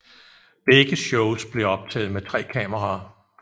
Begge shows blev optaget med tre kameraer